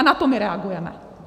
A na to my reagujeme.